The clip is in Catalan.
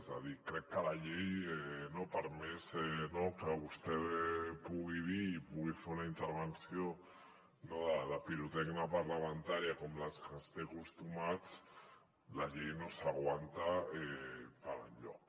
és a dir crec que la llei per més que vostè pugui dir i pugui fer una intervenció de pirotècnia parlamentària com a les que ens té acostumats la llei no s’aguanta per enlloc